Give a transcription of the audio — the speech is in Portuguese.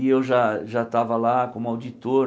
E eu já já estava lá como auditor.